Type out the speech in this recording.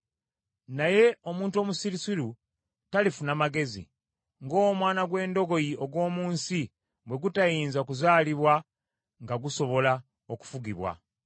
Naye omuntu omusirusiru, talifuna magezi, ng’omwana gw’endogoyi ogw’omu nsi bwe gutayinza kuzaalibwa nga gusobola okufugibwa.